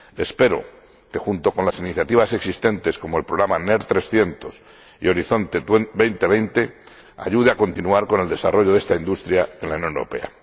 Espero que, junto con las iniciativas existentes, como el Programa NER300 y Horizonte 2020, ayude a continuar con el desarrollo de esta industria en la Unión Europea.